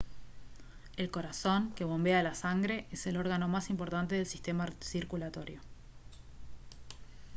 el corazón que bombea la sangre es el órgano más importante del sistema circulatorio